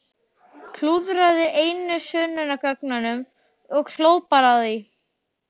Klúðraði einu sönnunargögnunum og hló bara að því!